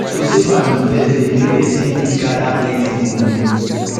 to save and invest de make persin fit gather plenty money